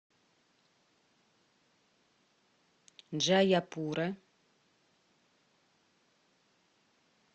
джаяпура